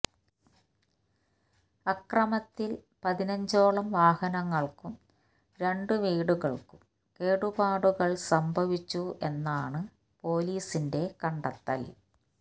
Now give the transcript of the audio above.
അക്രമത്തിൽ പതിനഞ്ചോളം വാഹനങ്ങൾക്കും രണ്ട് വീടുകൾക്കും കേടുപാടുകൾ സംഭവിച്ചു എന്നാണ് പൊലീസിന്റെ കണ്ടെത്തൽ